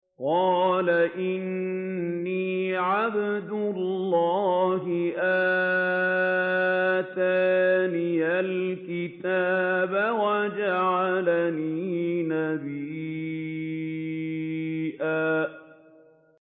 قَالَ إِنِّي عَبْدُ اللَّهِ آتَانِيَ الْكِتَابَ وَجَعَلَنِي نَبِيًّا